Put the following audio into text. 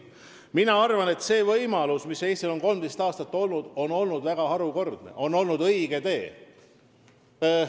Mina arvan, et Eesti on 13 aastat väga harukordset võimalust kasutanud, see on olnud õige tee.